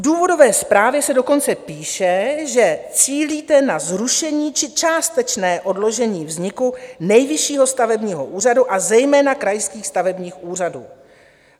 V důvodové zprávě se dokonce píše, že cílíte na zrušení či částečné odložení vzniku Nejvyššího stavebního úřadu, a zejména krajských stavebních úřadů.